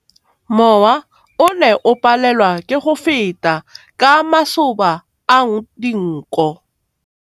Mowa o ne o palelwa ke go feta ka masoba a dinko.